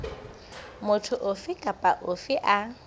motho ofe kapa ofe a